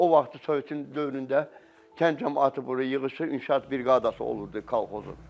O vaxtı Sovet dövründə kənd camaatı bura yığışıb, inşaat briqadası olurdu kolxozun.